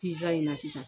Pizaa in na sisan